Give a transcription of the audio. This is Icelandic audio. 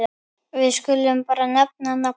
Við skulum bara nefna nafnið.